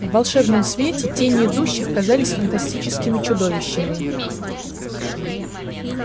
в волшебном свете тени идущих казались фантастическими чудищами